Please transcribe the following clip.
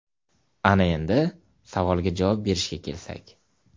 Ana endi, savolga javob berishga kelsak.